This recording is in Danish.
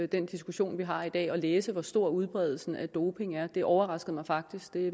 den diskussion vi har i dag at læse hvor stor udbredelsen af doping er det overraskede mig faktisk det